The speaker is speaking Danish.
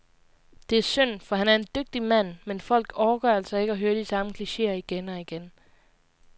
Det er synd, for han er en dygtig mand, men folk orker altså ikke høre de samme klicheer igen og igen.